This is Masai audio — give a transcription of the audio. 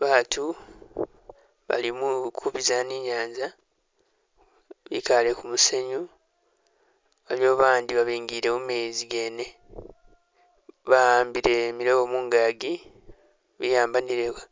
Baatu, bali mukubiza ni nyaanza, bikaale kumusenyu bali awo abandi babingile mumeezi gene, bakhambile milobo mungagi bikhambanileko